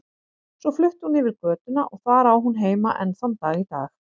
Svo flutti hún yfir götuna og þar á hún heima enn þann dag í dag.